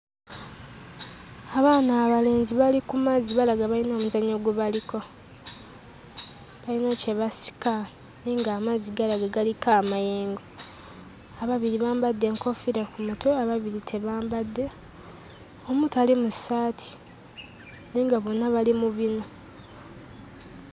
Abaana abalenzi bali ku mazzi balaga bayina omuzannyo gwe baliko, balina kye basika naye ng'amazzi galaga galiko amayengo. Ababiri bambadde enkoofiira ku mutwe, ababiri tebambadde, omu tali mu ssaati naye nga bonna bali mu binu.